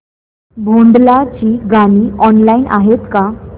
भोंडला ची गाणी ऑनलाइन आहेत का